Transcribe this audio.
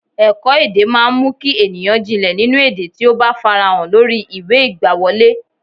Ẹ̀kọ́-èdè máa ń mú kí ènìyàn jìnlẹ̀ nínú èdè tí ó bá farahàn lórí ìwé ìgbàwọlé.